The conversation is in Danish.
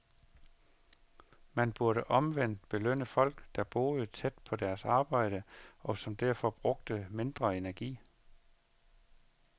Man burde omvendt belønne folk, der boede tæt på deres arbejde, og som derfor brugte mindre energi.